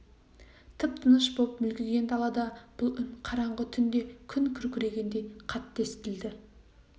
тып-тыныш боп мүлгіген далада бұл үн қараңғы түнде күн күркірегендей қатты естілді